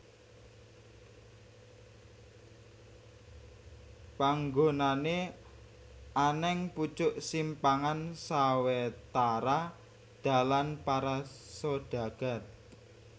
Panggonané anèng pucuk simpangan sawetara dalan para sodagar